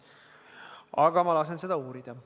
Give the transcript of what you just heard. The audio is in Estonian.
Aga ma lasen seda uurida.